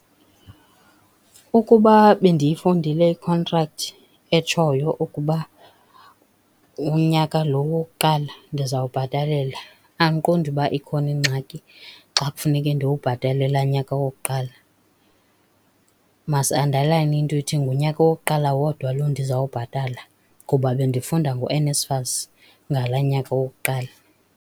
Ukuba bendiyifundile ikhontrakthi etshoyo ukuba unyaka lo wokuqala ndizawubhatalela, andiqondi uba ikhona ingxaki xa kufuneke ndiwubhatele laa nyaka wokuqala. Masiandalayine into ethi ngunyaka wokuqala wodwa lo ndizawubhatala, kuba bendifunda ngoNSFAS ngalaa nyaka wokuqala.